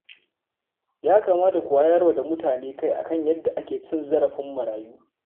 Ya kamata ku wayar wa da mutane kai a kan yadda ake cin zarafin marayu